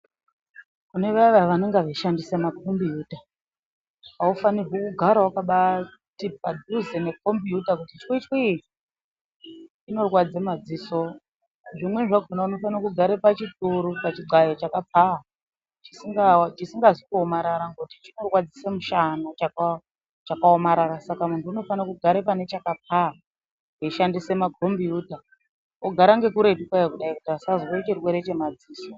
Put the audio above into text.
Kune vaya vaya vanenge vechishandisa makombiyuta, aufanirwi kugara wakabati padhuze nekombiyuta twitwi inorwadze madziso, zvimweni zvakona unofanira kugara pachituru pachidxayo chakapfava chisingazi kuomarara ngekuti chinorwadzuse mushana chakaomarara saka muntu unofane kugara pane chakapfava eishandisa makombiyuta ogara ngekuretu kwayo kuti asazwe chirwere chemadziso.